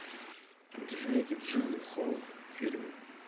джейк джилленхол фильмы